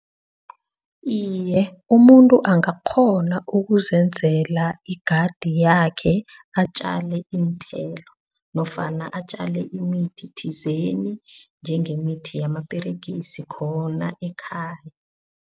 Iye, umuntu angakghona ukuzenzela igadi yakhe atjale iinthelo nofana atjale imithi thizeni njengemithi yamaperigisi khona ekhaya.